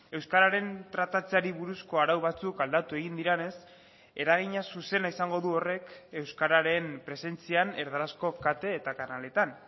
euskararen tratatzeari buruzko arau batzuk aldatu egin direnez eragina zuzena izango du horrek euskararen presentzian erdarazko kate eta kanaletan